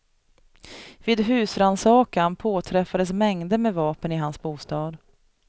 Vid husrannsakan påträffades mängder med vapen i hans bostad.